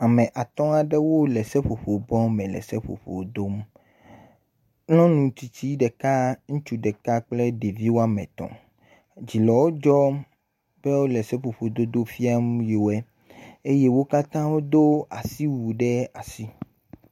Ame atɔ̃ aɖewo le seƒoƒo bɔme le seƒoƒo dom. Nyɔnu tsitsi ɖeka, ŋutsu ɖeka kple ɖevi wo ame etɔ̃. Dzi le wo dzɔm be wole seƒoƒododo fiam yiwoe eye wo katã wodo asiwui ɖe asi.